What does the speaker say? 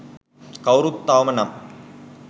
කවුරුවත් තවම නම්